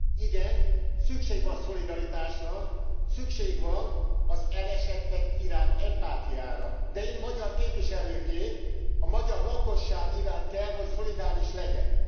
Igen, szükség van szolidaritásra, szükség van az elesettek iránt empátiára, de én magyar képviselőként a magyar lakosság iránt kell, hogy szolidáris legyek.